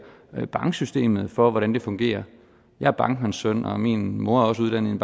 banksystemet for hvordan det fungerer jeg er bankmandssøn og min mor er også uddannet i